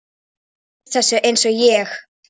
Þú venst þessu einsog ég.